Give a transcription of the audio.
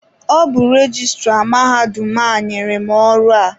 Ọ bụ rejistra mahadum a nyere m ọrụ a.